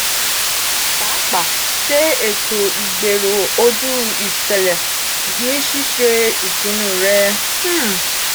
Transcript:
pàápàá ṣe eto igbero oju iṣẹlẹ ni ṣiṣe ìpinnu rẹ. um